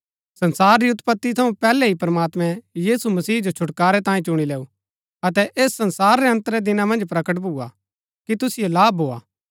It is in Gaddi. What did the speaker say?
संसार री उत्पति थऊँ पैहलै ही प्रमात्मैं यीशु मसीह जो छुटकारै तांये चुणी लैऊ अतै ऐस संसार रै अन्त रै दिना मन्ज प्रकट भुआ कि तुसिओ लाभ भोआ